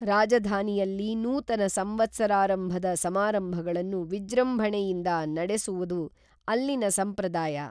ರಾಜಧಾನಿಯಲ್ಲಿ ನೂತನ ಸಂವತ್ಸರಾರಂಭದ ಸಮಾರಂಭಗಳನ್ನು ವಿಜೃಂಭಣೆಯಿಂದ ನಡೆ ಸುವುದು ಅಲ್ಲಿನ ಸಂಪ್ರದಾಯ